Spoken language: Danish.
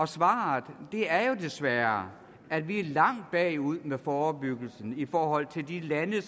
svaret er jo desværre at vi er langt bagud med forebyggelsen i forhold til de lande